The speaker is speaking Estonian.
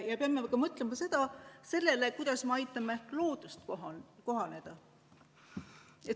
Ja me peame mõtlema sellele, kuidas me aitame loodusel kohaneda.